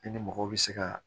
I ni mɔgɔw bɛ se ka